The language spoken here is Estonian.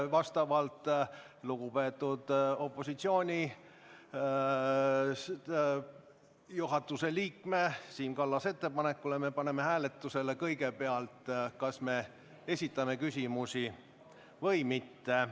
Vastavalt lugupeetud juhatuseliikme Siim Kallase ettepanekule paneme me kõigepealt hääletusele selle, kas me esitame küsimusi või mitte.